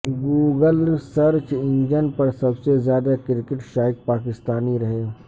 Google search engine پر سب زیادہ کرکٹ شائق پاکستانی رہے